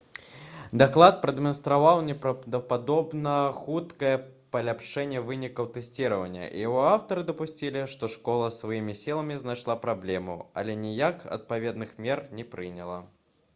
даклад прадэманстраваў непраўдападобна хуткае паляпшэнне вынікаў тэсціравання і яго аўтары дапусцілі што школа сваімі сіламі знайшла праблему але ніякіх адпаведных мер не прыняла